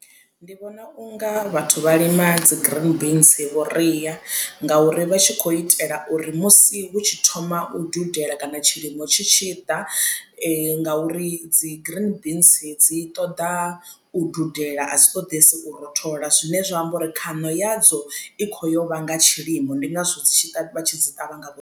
Ndi vhona unga vhathu vha lima dzi green beans vhuria ngauri vha tshi khou itela uri musi hu tshi thoma u dudela kana tshilimo tshi tshi ḓa nga uri dzi green beans dzi ṱoḓa u dudela adzi ṱoḓesi u rothola zwine zwa amba uri khaṋo ya dzo i kho yo vha nga tshilimo ndi ngazwo dzi tshi vha tshi dzi ṱavha.